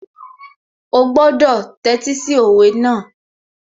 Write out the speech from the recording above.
Ó gbọ́dọ̀ tẹ́tí sí òwe náà